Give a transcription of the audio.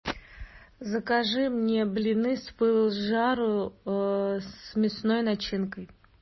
закажи мне блины с пылу с жару с мясной начинкой